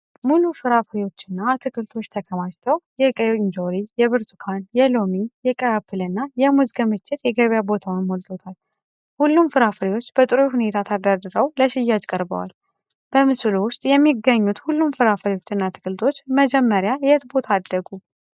ሙሉ ፍራፍሬዎችና አትክልቶች ተከማችተው፣ የቀይ እንጆሪ፣ የብርቱካን፣ የሎሚ፣ የቀይ አፕል እና የሙዝ ክምችት የገበያ ቦታን ሞልቶታል። ሁሉም ፍራፍሬዎች በጥሩ ሁኔታ ተደርድረው ለሽያጭ ቀርበዋል። በምስሉ ውስጥ የሚገኙት ሁሉም ፍራፍሬዎችና አትክልቶች መጀመሪያ የት ቦታ አደጉ?